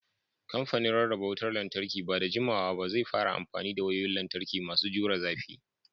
Kamfanin Rarraba Wutar Lantarki ba da jimawa ba zai fara amfani da wayoyin lantarki masu jure zafi.